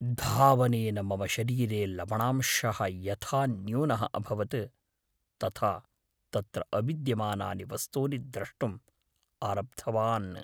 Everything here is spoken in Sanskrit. धावनेन मम शरीरे लवणांशः यथा न्यूनः अभवत्, तथा तत्र अविद्यमानानि वस्तूनि द्रष्टुम् आरब्धवान्।